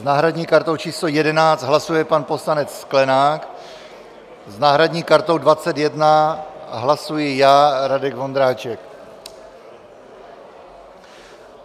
S náhradní kartou číslo 11 hlasuje pan poslanec Sklenák, s náhradní kartou 21 hlasuji já, Radek Vondráček.